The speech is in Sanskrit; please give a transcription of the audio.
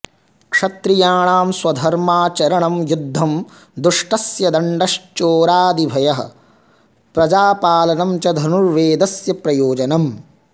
क्षत्रियाणां स्वधर्माचरणं युद्धं दुष्टस्य दण्डश्चोरादिभ्यः प्रजापालनं च धनुर्वेदस्य प्रयोजनम्